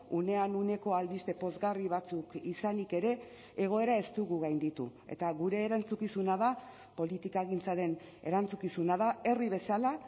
unean uneko albiste pozgarri batzuk izanik ere egoera ez dugu gainditu eta gure erantzukizuna da politikagintzaren erantzukizuna da herri bezala